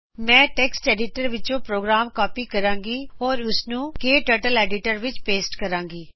ਮੈਂ text editor ਵਿੱਚੋ program copy ਕਰੂੰਗੀ ਤੇ ਉਸਨੂੰ ਕਟਰਟਲ ਐਡੀਟਰ ਵਿੱਚ ਪੇਸਟ ਕਰੂੰਗੀ